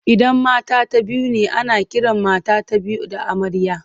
Idan mata biyu ne ana kiran mata ta biyu da amarya.